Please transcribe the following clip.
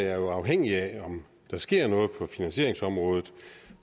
er jo afhængigt af om der sker noget på finansieringsområdet